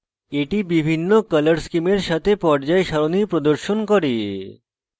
এটি বিভিন্ন color schemes সাথে পর্যায় সারণী প্রদর্শন করে